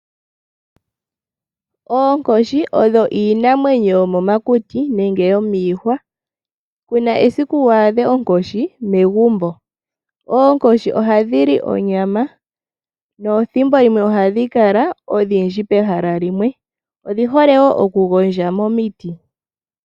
Oonkoshi iinamwenyo yomokuti nenge yomiihwa kuna esika wu adhe onkoshi megumbo. Oonkoshi ihadhi li onyama ohadhi kala odhindji pehala limwe. Odhi hole okugondja momiti.